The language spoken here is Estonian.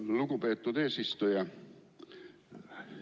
Aitäh, lugupeetud eesistuja!